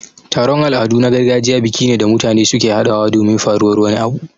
Taron Al'adu na gargajiya biki ne da mutane suke haɗawa domin faruwar wani abu